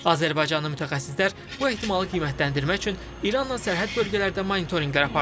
Azərbaycanın mütəxəssislər bu ehtimalı qiymətləndirmək üçün İranla sərhəd bölgələrdə monitorinqlər apardı.